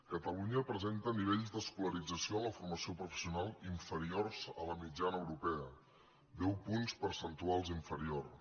catalunya presenta nivells d’escolarització en la for·mació professional inferiors a la mitjana europea deu punts percentuals inferiors